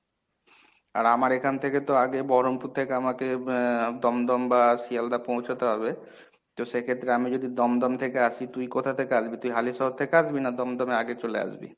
আর আমার এখান থেকে তো আগে বহরমপুর থেকে আমাকে আহ দমদম বা শিয়ালদাহ পৌঁছতে হবে তো সেক্ষেত্রে আমি যদি দমদম থেকে আসি তুই কোথা থেকে আসবি তুই হালিশহর থেকে আসবি না দমদমে আগে চলে আসবি?